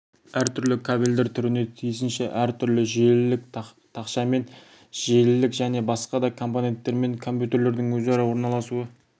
әртүрлі кабельдер түріне тиісінше әртүрлі желілік тақшамен желілік және басқа да компоненттермен компьютердің өзара орналасуы